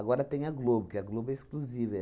tem a Globo, que a Globo é exclusiva.